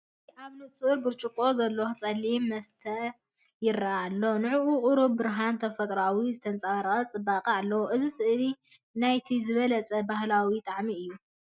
እዚ ኣብ ንጹር ብርጭቆ ዘሎ ጸሊም መስተ ይረአ ኣሎ። ንዕኡ ቁሩብ ብርሃንን ተፈጥሮኣዊን ዝተጸረየን ጽባቐን ኣለዎ። እዚ ስእሊ ናይቲ ዝበለጸን ባህላዊን ጣዕሚ እዩ።